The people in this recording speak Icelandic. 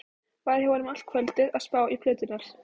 Var hjá honum allt kvöldið að spá í plöturnar.